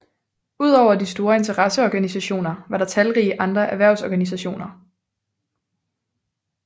Udover de store interesseorganisationer var der talrige andre erhvervsorganisationer